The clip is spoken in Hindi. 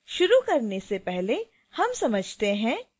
शुरू करने से पहले हम समझते हैं